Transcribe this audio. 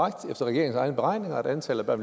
regeringens egne beregninger at antallet af